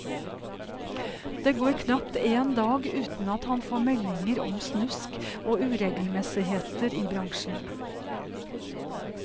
Det går knapt en dag uten at han får meldinger om snusk og uregelmessigheter i bransjen.